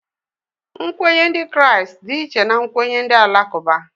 Nkwenye ndị Kraịst dị iche na nkwenye ndị Alakụba